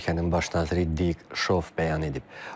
Bu barədə ölkənin baş naziri Dik Şov bəyan edib.